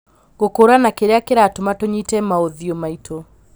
Gũkũrana kĩrĩa kĩratũma tũnyite maũthiũ maitũ